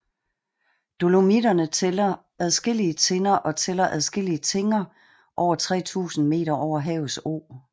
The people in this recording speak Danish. Dolomitterne tæller adskillige tinder og tæller adskillige tinger over 3000 meter over havets o